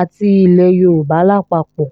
àti ilẹ̀ yorùbá lápapọ̀